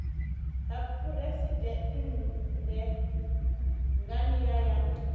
ha phuresidennde nga nila ya